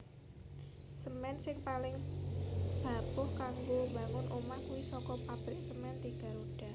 Semen sing paling bapuh kanggo mbangun omah kui soko pabrik Semen Tiga Roda